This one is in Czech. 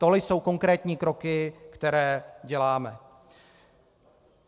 Tohle jsou konkrétní kroky, které děláme.